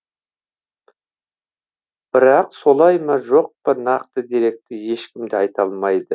бірақ солай ма жоқ па нақты деректі ешкім де айта алмайды